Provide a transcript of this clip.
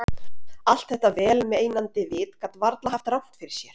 Allt þetta vel meinandi vit gat varla haft rangt fyrir sér.